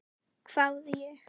hváði ég.